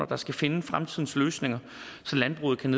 der skal finde fremtidens løsninger så landbruget kan